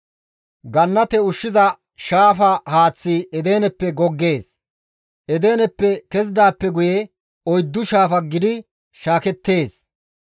Gannate ushshiza shaafa haaththi Edeneppe goggees. Edeneppe kezidaappe guye, oyddu shaafa gidi shaakettees.